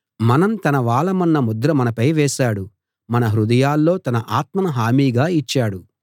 మనం తన వాళ్ళమన్న ముద్ర మనపై వేసాడు మన హృదయాల్లో తన ఆత్మను హామీగా ఇచ్చాడు